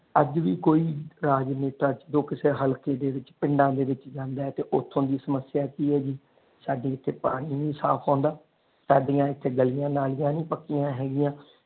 ਅੱਜ ਵੀ ਕੋਈ ਰਾਜਨੇਤਾ ਚ ਦੁੱਖ ਹਲਕੇ ਦੇ ਵਿਚ ਪਿੰਡ ਦੇ ਵਿਚ ਜਾਂਦਾ ਤੇ ਓਥੋਂ ਦੀ ਸਮਸਿਆ ਕਿ ਹੈ ਜੀ ਸਾਡੇ ਇਥੇ ਪਾਣੀ ਨਹੀਂ ਸਾਫ ਆਉਂਦਾ ਸਾਡੀਆਂ ਇਥੇ ਗਲੀਆਂ ਨਾਲੀਆਂ ਨੀ ਪੱਕੀਆਂ ਹੈਗੀਆਂ।